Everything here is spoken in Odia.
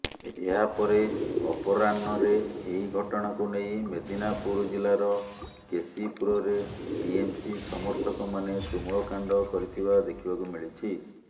ଏହାପରେ ଅପରାହ୍ନରେ ଏହି ଘଟଣାକୁ ନେଇ ମେଦିନାପୁର ଜିଲ୍ଲାର କେଶିପୁରରେ ଟିଏମସି ସମର୍ଥକମାନେ ତୁମୁଳକାଣ୍ଡ କରିଥିବା ଦେଖିବାକୁ ମିଳିଛି